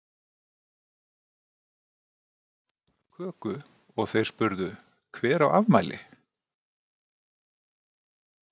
Svo kom Ingvar með köku og þeir spurðu Hver á afmæli?